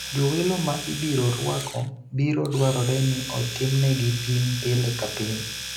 Jowelo ma ibiro rwako biro dwarore ni otimnegi pim pile ka pile.